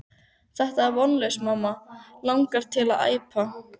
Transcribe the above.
Þetta er vonlaust mamma langar mig til að æpa.